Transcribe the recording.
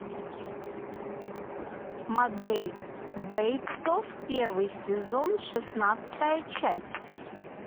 мотель бейтсов первый сезон шестнадцатая часть